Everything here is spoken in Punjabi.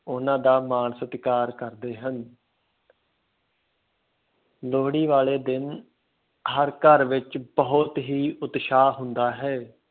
ਉਹਨਾਂ ਦਾ ਮਾਣ ਸਤਿਕਾਰ ਕਰਦੇ ਹਨ ਲੋਹੜੀ ਵਾਲੇ ਦਿਨ ਹਰ ਘਰ ਵਿੱਚ ਬਹੁਤ ਹੀ ਉਤਸ਼ਾਹ ਹੁੰਦਾ ਹੈ।